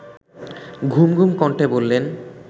ঘুমঘুম কণ্ঠে বললেন